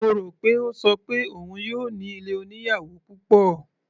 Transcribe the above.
Mo rò pé ó ṣọ pé òun yóò ní ilé oníyàwò púpọ̀.